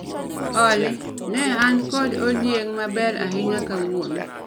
Olly, ne an kod odieng' maber ahinya kawuono